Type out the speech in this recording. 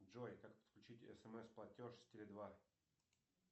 джой как подключить смс платеж с теле два